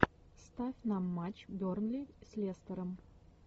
ставь нам матч бернли с лестером